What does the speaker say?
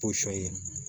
Posɔn ye